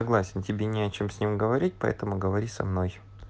согласен тебе не о чем с ним говорить поэтому говори со мной